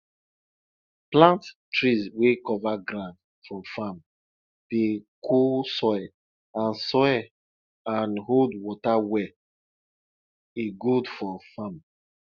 plant tree wey cover ground for farm dey cool soil and soil and hold water well e good for farm